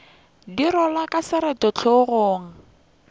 di rwalwa ka seroto hlogong